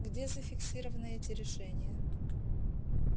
где зафиксированы эти решения